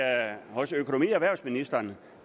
hos økonomi og erhvervsministeren